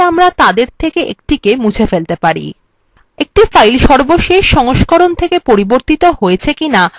একটি file সর্বশেষ সংস্করণ থেকে পরিবর্তিত হয়েছে কিনা আমরা সেটিও দেখতে চাইতে পারি